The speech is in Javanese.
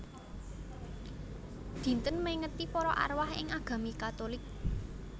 Dinten mèngeti para arwah ing agami Katulik